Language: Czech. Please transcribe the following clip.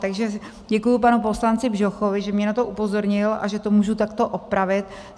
Takže děkuji panu poslanci Bžochovi, že mě na to upozornil a že to můžu takto opravit.